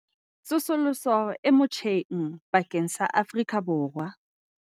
Tsosoloso e motjheng bakeng sa Afrika Borwa